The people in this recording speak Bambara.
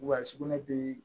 Wa sugunɛ bi